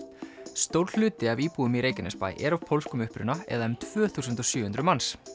stór hluti af íbúum í Reykjanesbæ er af pólskum uppruna eða um tvö þúsund og sjö hundruð manns